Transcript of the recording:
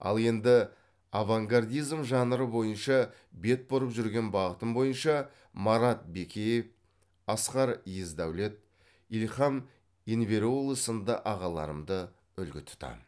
ал енді авангардизм жанры бойынша бет бұрып жүрген бағытым бойынша марат бекеев асқар есдаулет ильхам енвереуглы сынды ағаларымды үлгі тұтамын